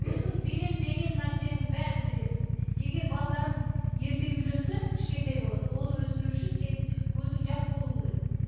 өзің беремін деген нәрсенің бәрін бересің егер балдарың ерте үйленсе кішкентай болады оны өсіру үшін сен өзің жас болуың керек